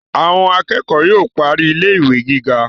Àwọn akẹ́kọ̀ọ́ yóò parí ilé ìwé gíga